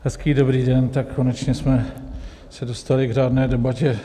Hezký dobrý den, tak konečně jsme se dostali k řádné debatě.